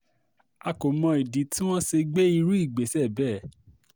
akọ mọ ìdí tí wọ́n ṣe gbé irú ìgbésẹ̀ bẹ́ẹ̀